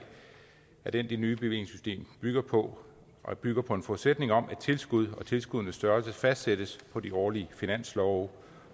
er den det nye bevillingssystem bygger på det bygger på en forudsætning om at tilskud og tilskuddenes størrelse fastsættes på de årlige finanslove